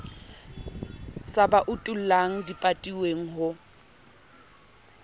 sa ba utullang dipatilweng ho